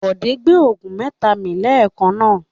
Bọ̀dé gbé òògùn mẹ́ta mi lẹ́ẹ̀kan náà.